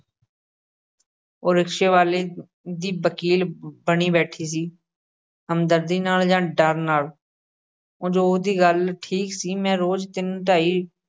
ਉਹ ਰਿਕਸ਼ੇ ਵਾਲ਼ੇ ਦੀ ਵਕੀਲ ਬਣੀ ਬੈਠੀ ਸੀ, ਹਮਰਦਰਦੀ ਨਾਲ ਜਾਂ ਡਰ ਨਾਲ, ਉਂਞ ਉਹਦੀ ਗੱਲ ਠੀਕ ਸੀ, ਮੈਂ ਰੋਜ਼ ਤਿੰਨ-ਢਾਈ